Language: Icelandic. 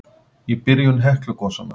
Í byrjun Heklugosanna